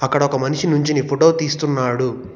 అక్కడ ఒక మనిషి నుంచొని ఫోటో తీస్తున్నాడు.